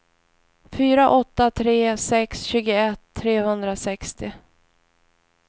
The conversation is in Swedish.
fyra åtta tre sex tjugoett trehundrasextio